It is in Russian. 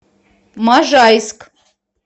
можайск